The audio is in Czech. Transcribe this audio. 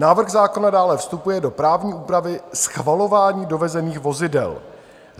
Návrh zákona dále vstupuje do právní úpravy schvalování dovezených vozidel.